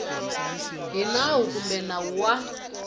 hi nawu kumbe nawu wa